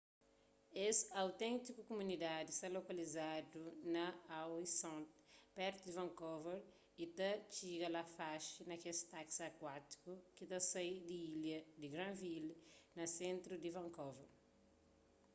es auténtiku kumunidadi sta lokalizadu na howe sound pertu di vancouver y ta tixiga la faxi na kes taksi akuátikus ki ta sai di ilha di granville na sentru di vancouver